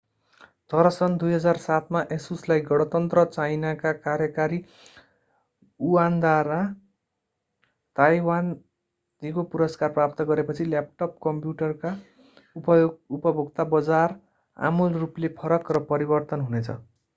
तर सन् 2007 मा asusलाई गणतन्त्र चाइनाका कार्यकारी युआनद्वारा ताईवान दीगो पुरस्कार प्रदान गरेपछि ल्यापटप कम्प्युटरका उपभोक्ता बजार आमूल रूपले फरक र परिवर्तन हुनेछ।